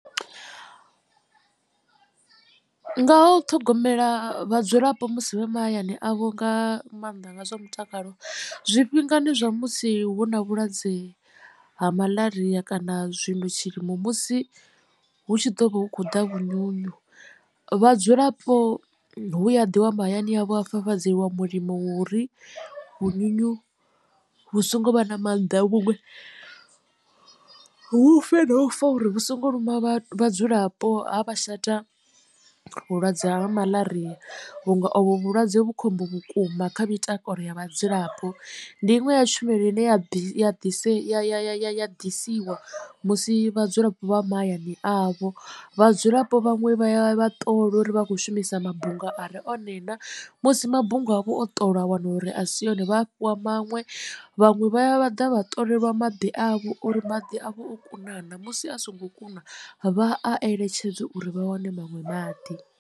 Nga ha u ṱhogomela vhadzulapo musi vhe mahayani avho nga maanḓa nga zwa mutakalo zwifhingani zwa musi hu na vhulwadze ha malaria kana zwino tshilimo musi hu tshi ḓo vha hu khou ḓa vhunyunyu vhadzulapo hu ya ḓiwa mahayani avho ha fafadzeliwa mulimo uri vhunyunyu vhu so ngo vha na mannḓa vhuṅwe vhu fe na ufa uri vhu songo luma vhadzulapo, ha vha shata vhulwadze ha malaria vhunga ovhu vhulwadze vhu khombo vhukuma kha mitakalo ya vhadzulapo. Ndi iṅwe ya tshumelo ine ya ya ḓisiwa musi vhadzulapo vha mahayani avho. Vhadzulapo vhaṅwe vha ya vha ṱolwa uri vha khou shumisa mabunga are one na musi mabunga avho o ṱolwa a wana uri a si yone vha fhiwa maṅwe vhaṅwe vha ya vha ḓa vha ṱolelwa maḓi avho uri maḓi a vha o kuna na musi a songo kuna vha a eletshedze uri vha wane maṅwe maḓi.